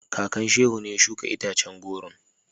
Kakan Shehu ne ya shuka itacen goron.